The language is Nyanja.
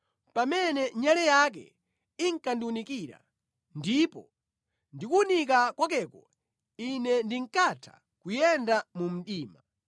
pamene nyale yake inkandiwunikira ndipo ndi kuwunika kwakeko ine ndinkatha kuyenda mu mdima!